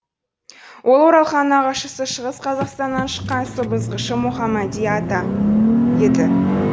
ол оралханның нағашысы шығыс қазақстаннан шыққан сыбызғышы мұхамади ата еді